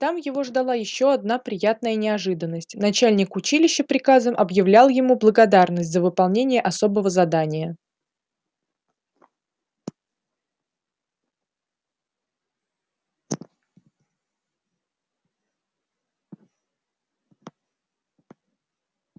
там его ждала ещё одна приятная неожиданность начальник училища приказом объявлял ему благодарность за выполнение особого задания